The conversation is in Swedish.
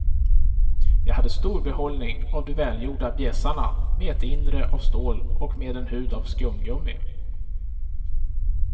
Jag hade stor behållning av de välgjorda bjässarna med ett inre av stål och med en hud av skumgummi.